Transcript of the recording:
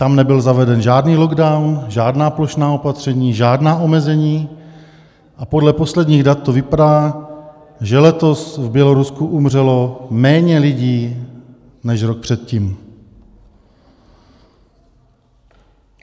Tam nebyl zaveden žádný lockdown, žádná plošná opatření, žádná omezení, a podle posledních dat to vypadá, že letos v Bělorusku umřelo méně lidí než rok předtím.